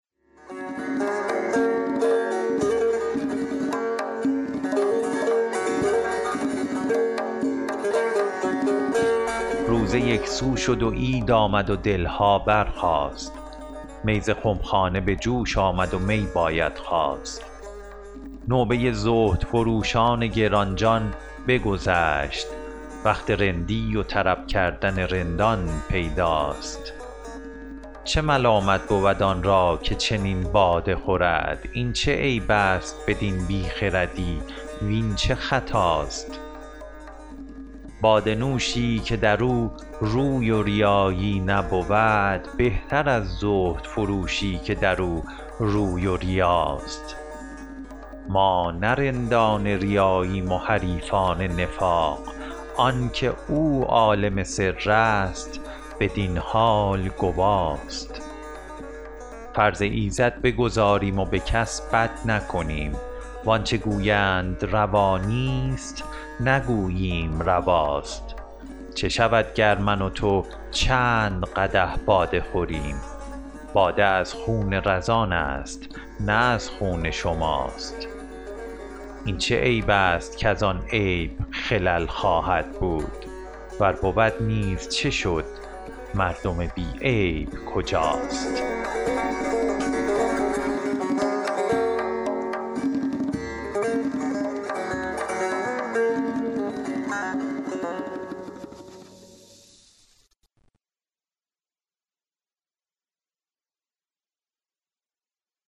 روزه یک سو شد و عید آمد و دل ها برخاست می ز خم خانه به جوش آمد و می باید خواست نوبه زهدفروشان گران جان بگذشت وقت رندی و طرب کردن رندان پیداست چه ملامت بود آن را که چنین باده خورد این چه عیب است بدین بی خردی وین چه خطاست باده نوشی که در او روی و ریایی نبود بهتر از زهدفروشی که در او روی و ریاست ما نه رندان ریاییم و حریفان نفاق آن که او عالم سر است بدین حال گواست فرض ایزد بگزاریم و به کس بد نکنیم وان چه گویند روا نیست نگوییم رواست چه شود گر من و تو چند قدح باده خوریم باده از خون رزان است نه از خون شماست این چه عیب است کز آن عیب خلل خواهد بود ور بود نیز چه شد مردم بی عیب کجاست